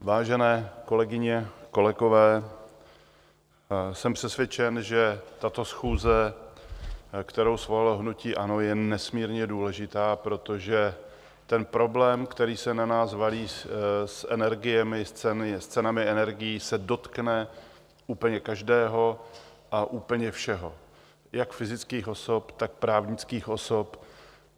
Vážené kolegyně, kolegové, jsem přesvědčen, že tato schůze, kterou svolalo hnutí ANO, je nesmírně důležitá, protože ten problém, který se na nás valí s energiemi, s cenami energií, se dotkne úplně každého a úplně všeho, jak fyzických osob, tak právnických osob.